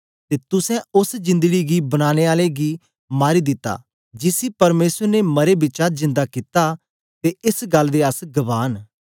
ते तुसें ओस जंदडी गी बनाने आले गी मारी दिता जिसी परमेसर ने मरें बिचा जिंदा कित्ता ते एस गल्ल दे अस गवाह न